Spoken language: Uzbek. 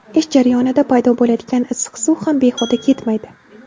Ish jarayonida paydo bo‘ladigan issiq suv ham behuda ketmaydi.